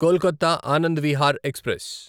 Kolkata Anand Vihar express